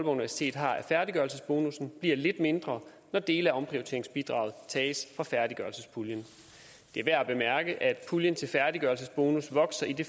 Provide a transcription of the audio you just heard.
universitet har af færdiggørelsesbonussen bliver lidt mindre når dele af omprioriteringsbidraget tages fra færdiggørelsespuljen det er værd at bemærke at puljen til færdiggørelsesbonus vokser i det